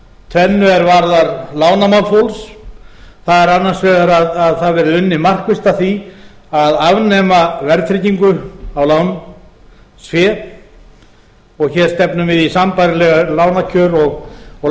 tvennu er varðar lánamál fólks það er annars vegar að það verði unnið markvisst að því að afnema verðtryggingu á lánsfé og hér stefnum við í sambærileg lánakjör og lánafyrirgreiðslu eins og